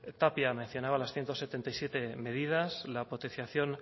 tapia mencionaba las ciento setenta y siete medidas la potenciación